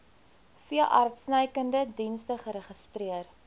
veeartsenykundige dienste geregistreer